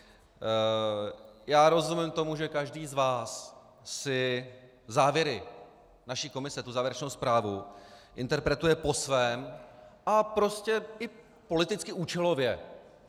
Já rozumím tomu, že každý z vás si závěry naší komise, tu závěrečnou zprávu, interpretuje po svém a prostě i politicky účelově.